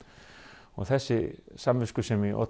og þessi samviskusemi olli